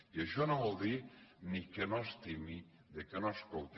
i això no vol dir ni que no estimi que no escolti